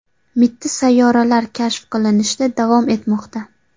Mitti sayyoralar kashf qilinishda davom etmoqda.